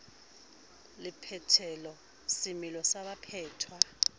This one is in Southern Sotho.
le phethelo semelo sa baphetwa